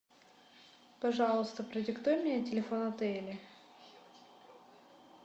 пожалуйста продиктуй мне телефон отеля